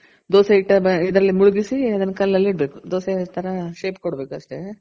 ಹಾ ದೋಸೆ ಹಿಟ್ಟಲ್ಲಿ ಮುಳಗಿಸಿ ಅದನ್ ಕಲ್ಲಲ್ಲಿ ಇಡ್ಬೇಕು. ದೋಸೆ ತರ shape ಕೊಡ್ಬೇಕು ಅಷ್ಟೆ